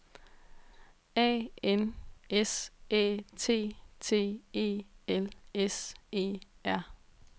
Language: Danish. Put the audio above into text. A N S Æ T T E L S E R